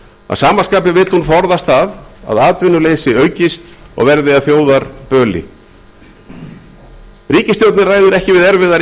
að sama skapi vill hún forðast að atvinnuleysi aukist og verði að þjóðarböli ríkisstjórnin ræður ekki við erfiðar